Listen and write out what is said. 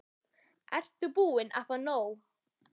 Ert þú búin að fá nóg?